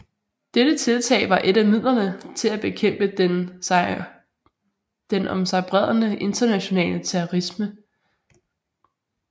Dette tiltag var et af midlerne til at bekæmpe den om sig bredende internationale terrorisme